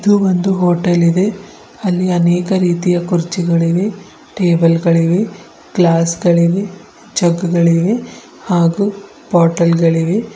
ಇದು ಒಂದು ಹೋಟೆಲ್ ಇದೆ ಅಲ್ಲಿ ಅನೇಕ ರೀತಿಯ ಕುರ್ಚಿಗಳಿಗೆ ಟೇಬಲ್ ಗಳಿಗೆ ಗ್ಲಾಸ್ ಗಳಿವೆ ಜಗ್ ಗಳಿಗೆ ಹಾಗೂ ಬೊಟಲ್ ಗಳಿವೆ.